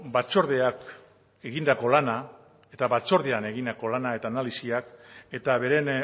batzordeak egindako lana eta batzordean egindako lana eta analisiak eta beren